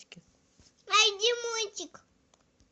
найди мультик